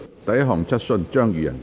第一項質詢。